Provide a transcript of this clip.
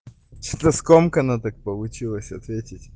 скомкано так получилось ответить